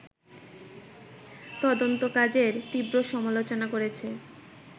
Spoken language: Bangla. তদন্তকাজের তীব্র সমালোচনা করেছে